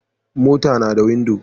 Mota nada windo